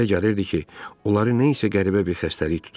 Ona elə gəlirdi ki, onları nə isə qəribə bir xəstəlik tutub.